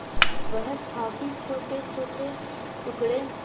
वह काफी छोटेछोटे टुकड़े